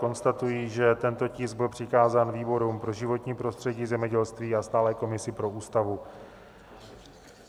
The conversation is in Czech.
Konstatuji, že tento tisk byl přikázán výborům pro životní prostředí, zemědělství a stálé komisi pro Ústavu.